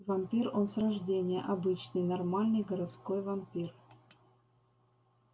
вампир он с рождения обычный нормальный городской вампир